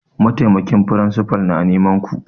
Mataimakin firinsifa na neman ku!